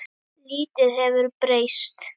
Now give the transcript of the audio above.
Lítið hefur breyst.